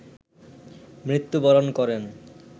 মৃত্যু বরণ করেন